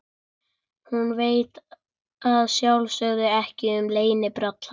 Hún veit að sjálfsögðu ekkert um leynibrall hans.